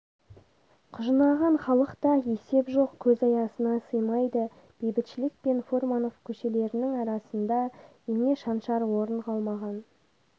құжынаған халықта есеп жоқ көз аясына сыймайды бейбітшілік пен фурманов көшелерінің арасында ине шаншар орын қалмаған